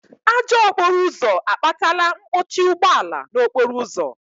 Ajọ okporo ụzọ akpatala mkpọchi ụgbọala n'okporo ụzọ